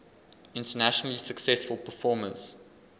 internationally successful performers